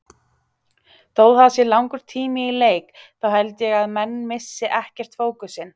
Þó það sé langur tími í leik þá held ég að menn missi ekkert fókusinn.